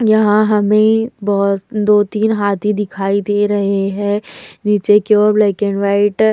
यहाँ हमें बोहोत दो तीन हाथी दिखाई दे रहे हैं। नीचे की ओर ब्लैक एंड वाइट ।--